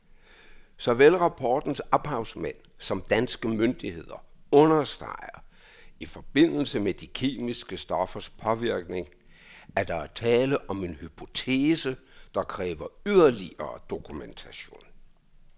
Såvel rapportens ophavsmænd samt danske myndigheder understreger i forbindelse med de kemiske stoffers påvirkning, at der er tale om en hypotese, der kræver yderligere dokumentation.